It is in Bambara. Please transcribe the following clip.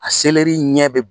A ɲɛ bɛ.